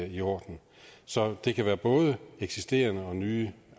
i orden så det kan være både eksisterende og nye